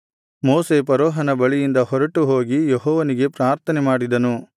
ಮೋಶೆ ಫರೋಹನ ಬಳಿಯಿಂದ ಹೊರಟು ಹೋಗಿ ಯೆಹೋವನಿಗೆ ಪ್ರಾರ್ಥನೆಮಾಡಿದನು